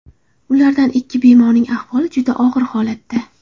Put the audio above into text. Ulardan ikki bemorning ahvoli juda og‘ir holatda.